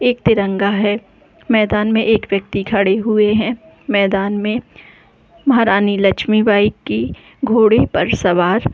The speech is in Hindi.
एक तिरंगा है मैदान में एक वयक्ति खड़े हुएं हैं मैदान में महारानी लक्ष्मी बाई की घोड़े पर सवार--